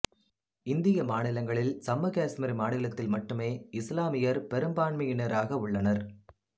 இந்திய மாநிலங்களில் சம்மு காசுமீர் மாநிலத்தில் மட்டுமே இசுலாமியர் பெரும்பான்மையினராக உள்ளனர்